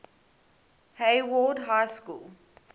hayward high school